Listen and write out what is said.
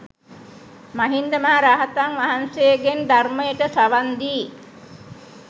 මහින්ද මහ රහතන් වහන්සේගෙන් ධර්මයට සවන් දී